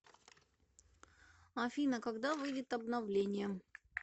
афина когда выйдет обновление